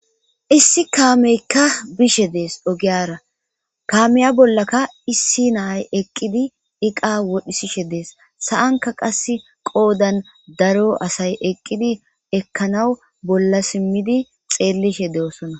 Issi kaameykka bishe dees ogiyara kaameya bollaka issi naay eqqidi iqa wodhisishe dees sa7anka qass qoodan daro asay eqqidi ekkanaw bolla simmidi xeellishe deosona.